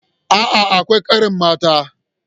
A'a, akwai ƙarin mata.